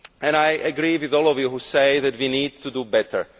I agree with all of you who say that we need to do better.